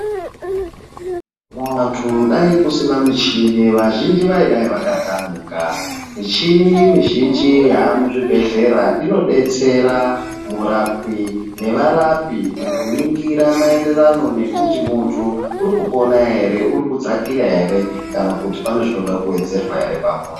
Vanthu dai kusina michini vazhinji vaidai vakatamika, michini mizhinji yaamuzvibhedhlera inodetsera murapwi nevarapi mukuningira maererano nekuti munthu urikupona ere urikudzakira ere kana kuti pane zvinoda kuwedzerwa pamunthu.